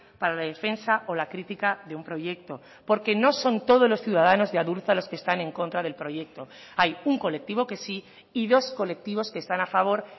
para la defensa o la crítica de un proyecto porque no son todos los ciudadanos de adurza los que están en contra del proyecto hay un colectivo que sí y dos colectivos que están a favor